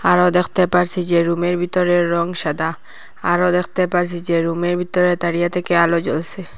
আরো দেখতে পারসি যে রুমের বিতরের রং সাদা আরো দেখতে পারসি যে রুমের ভিতরে তারিয়া থেকে আলো জ্বলসে ।